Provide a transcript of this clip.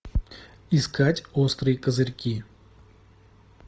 искать острые козырьки